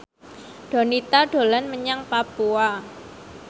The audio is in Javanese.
Donita dolan menyang Papua